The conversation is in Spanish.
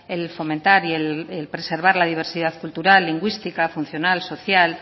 el fomentar y el preservar la diversidad cultural lingüística funcional social